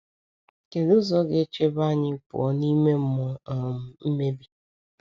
Kedụ ụzọ ga-echebe anyị pụọ n’ime mmụọ um mmebi?